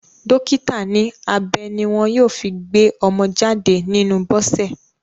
Dọ́kítà ní abẹ ní wọ́n yóò fi gbé ọmọ jáde nínú Bọ́sẹ̀.